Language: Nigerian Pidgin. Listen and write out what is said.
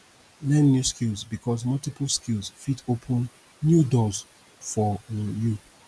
learn new skill bikos multiply skills fit open new doors for um yu